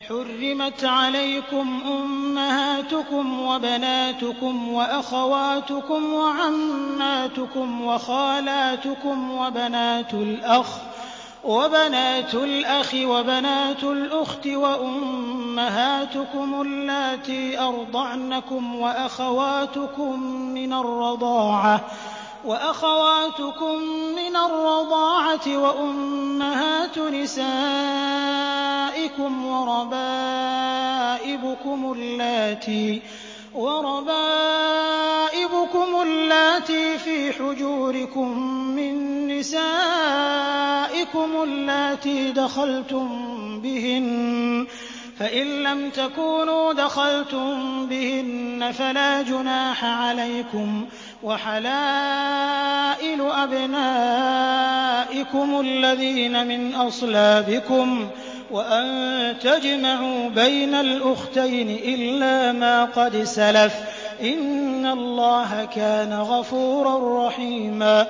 حُرِّمَتْ عَلَيْكُمْ أُمَّهَاتُكُمْ وَبَنَاتُكُمْ وَأَخَوَاتُكُمْ وَعَمَّاتُكُمْ وَخَالَاتُكُمْ وَبَنَاتُ الْأَخِ وَبَنَاتُ الْأُخْتِ وَأُمَّهَاتُكُمُ اللَّاتِي أَرْضَعْنَكُمْ وَأَخَوَاتُكُم مِّنَ الرَّضَاعَةِ وَأُمَّهَاتُ نِسَائِكُمْ وَرَبَائِبُكُمُ اللَّاتِي فِي حُجُورِكُم مِّن نِّسَائِكُمُ اللَّاتِي دَخَلْتُم بِهِنَّ فَإِن لَّمْ تَكُونُوا دَخَلْتُم بِهِنَّ فَلَا جُنَاحَ عَلَيْكُمْ وَحَلَائِلُ أَبْنَائِكُمُ الَّذِينَ مِنْ أَصْلَابِكُمْ وَأَن تَجْمَعُوا بَيْنَ الْأُخْتَيْنِ إِلَّا مَا قَدْ سَلَفَ ۗ إِنَّ اللَّهَ كَانَ غَفُورًا رَّحِيمًا